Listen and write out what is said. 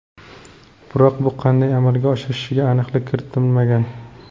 Biroq bu qanday amalga oshishiga aniqlik kiritilmagan.